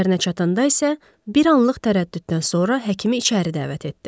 Evlərinə çatanda isə bir anlıq tərəddüddən sonra həkimi içəri dəvət etdi.